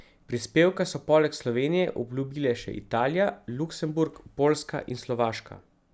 Prispevke so poleg Slovenije obljubile še Italija, Luksemburg, Poljska in Slovaška.